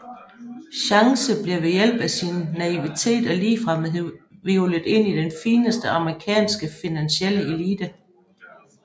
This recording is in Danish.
Chance bliver ved hjælp af sin naivitet og ligefremhed hvirvlet ind i den fineste amerikanske finansielle elite